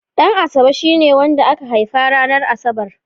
Ɗanasabe shine wanda aka haifa ranar Asabar.